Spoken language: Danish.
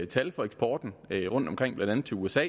tal for eksporten rundtomkring blandt andet til usa